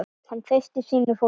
Hann treysti sínu fólki.